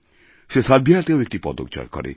সে সার্বিয়াতেও একটি পদক জয় করে